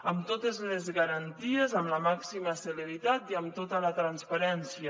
amb totes les garanties amb la màxima celeritat i amb tota la transparència